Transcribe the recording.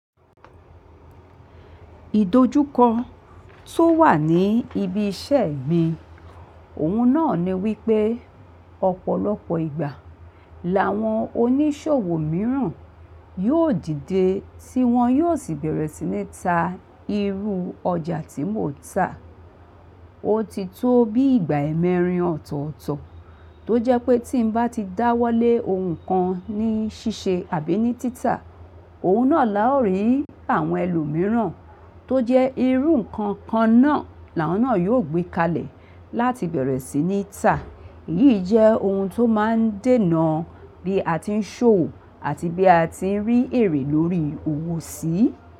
Ìdojúkọ tó wà ní ibi iṣẹ́ mi, òhun náà ni wípẹ́ ọ̀pọ̀lọpọ̀ ìgbà làwọn oníṣòwò mìíràn yóò dìde tí wọn yóò sì bẹ̀rẹ̀ sí ní ta irú ọjà tí mò ń tà. Ó ti tó bí ìgbà mẹrin ọ̀tọ̀ọ̀tọ̀ tó jẹ́ pé tí n bá ti dáwọ́lé ohun kan ní ṣíṣe àbí ní títà, òhun náà la ò rí àwọn ẹlòmíràn tó jẹ́ irú ǹkan kan náà làwọn náà yóò gbé kalẹ̀ láti bẹ̀rẹ̀ sí ní tà. Èyí jẹ́ ohun tó má ń dènà bí a ti ń ṣòwò àti bí a ti ń rí èrè lórí òwò sí.